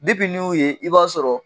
n y'o ye, i b'a sɔrɔ.